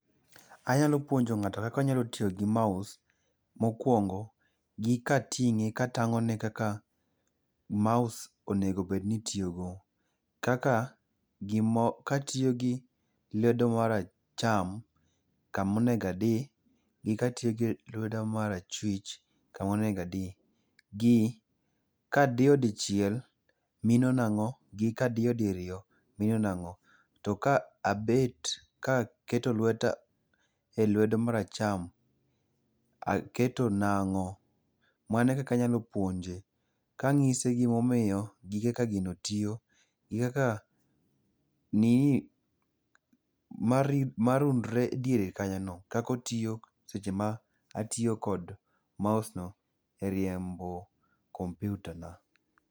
Anyalo puonjo ng'ato kaka onyalo tiyo gi mouse, mokuongo gi kating'e katang'one kaka mouse onego bed ni itiyogo kaka katiyo gi lwedo mar acham, kamonego adi gi ka tiyo gi lweta mar achwich kama onego adi. Gi kadiyo dichieil mino nang'o gi kadiyo diriyo to mino nang'o. To ka abet kaketo lweta elwedo mar acham ,aketo nang'o? Mano ekaka anyalo puonje kanyise gimomiyo, gi kaka gino tiyo. Marundre diere kanyono kaka otiyo seche ma atiyo kod mouse e riembo computer na.